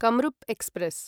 Kamrup express